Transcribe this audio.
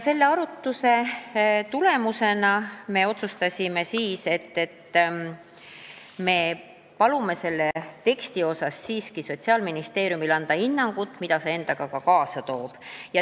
Selle arutluse tulemusena me otsustasime, et me palume Sotsiaalministeeriumil anda selle teksti kohta siiski hinnang, mida see sõnastus endaga kaasa toob.